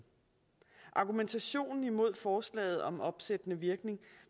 argumentationen imod forslaget om opsættende virkning